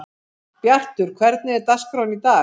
Bjartur, hvernig er dagskráin í dag?